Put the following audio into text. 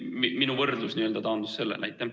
Minu võrdlus n-ö taandus sellele.